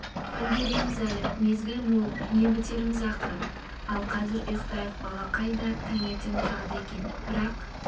үлгірерміз әлі мезгіл мол не бітіреміз ақыры ал қазір ұйықтайық балақай да таңертең тұрады екен бірақ